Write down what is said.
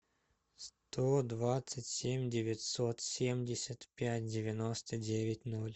сто двадцать семь девятьсот семьдесят пять девяносто девять ноль